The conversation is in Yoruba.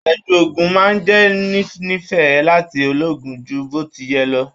Afẹju òògùn máa n jẹ ninifẹ láti lòogun jù botiyẹ̀ lọ.